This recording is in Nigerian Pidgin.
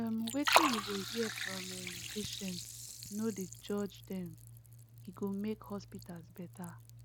um wetin you go hear from um patients no dey judge dem e go make hospitals better